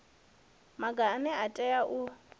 maga ane a tea u